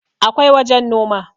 akwai wajen Noma